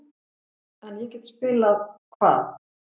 En ég get spilað-Hvað?